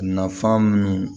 Nafan min